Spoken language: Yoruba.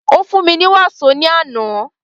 Ó fún mi ní wàsó ní àná.